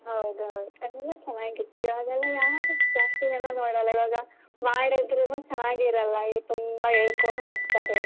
ಹೌದೌದು. ಅವಾಗ ಎಲ್ಲಾ ಚೆನ್ನಾಗಿತ್ತು ಇವಾಗೆಲ್ಲ ಯಾರು ಜಾಸ್ತಿ ಜನ ನೋಡಲ್ಲ ಇವಾಗ ಮಾಡಿದ್ರುನು ಚೆನ್ನಾಗಿರಲ್ಲ ತುಂಬಾ ಎಳ್ಕೊಂಡ್ ಹೋಗ್ತಾರೆ.